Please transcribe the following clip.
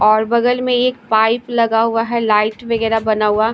और बगल में एक पाइप लगा हुआ हैलाइट वगैरह बना हुआ--